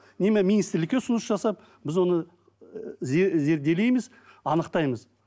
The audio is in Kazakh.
министрлікке ұсыныс жасап біз оны зерделейміз анықтаймыз